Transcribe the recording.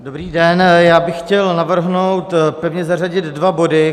Dobrý den, já bych chtěl navrhnout pevně zařadit dva body.